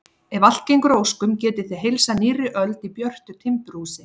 Ef allt gengur að óskum getið þið heilsað nýrri öld í björtu timburhúsi.